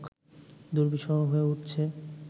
দুর্বিসহ হয়ে উঠছে